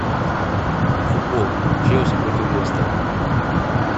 футбол челси против лестера